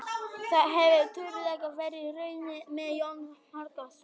Það hefur trúlega verið raunin með Jón Magnússon.